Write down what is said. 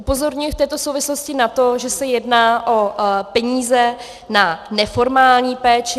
Upozorňuji v této souvislosti na to, že se jedná o peníze na neformální péči.